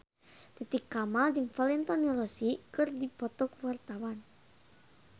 Titi Kamal jeung Valentino Rossi keur dipoto ku wartawan